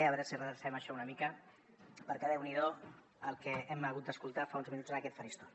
a veure si redrecem això una mica perquè déu n’hi do el que hem hagut d’escoltar fa uns minuts en aquest faristol